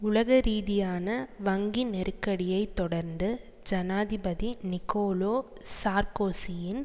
உலக ரீதியான வங்கி நெருக்கடியை தொடர்ந்து ஜனாதிபதி நிக்கோலோ சார்க்கோசியின்